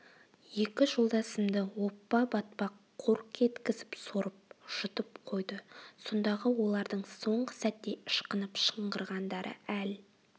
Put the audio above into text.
екі жолдасымды оппа батпақ қорқ еткізіп сорып жұтып қойды сондағы олардың соңғы сәтте ышқынып шыңғырғандары әл